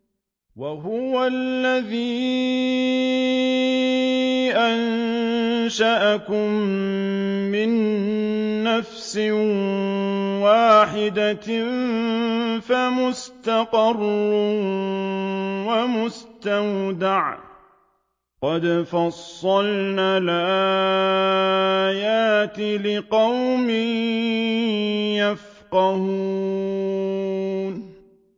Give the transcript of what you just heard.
وَهُوَ الَّذِي أَنشَأَكُم مِّن نَّفْسٍ وَاحِدَةٍ فَمُسْتَقَرٌّ وَمُسْتَوْدَعٌ ۗ قَدْ فَصَّلْنَا الْآيَاتِ لِقَوْمٍ يَفْقَهُونَ